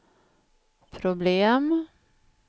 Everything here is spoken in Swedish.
problem